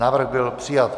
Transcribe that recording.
Návrh byl přijat.